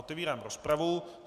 Otevírám rozpravu.